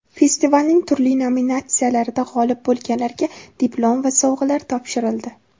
Festivalning turli nominatsiyalarida g‘olib bo‘lganlarga diplom va sovg‘alar topshirildi.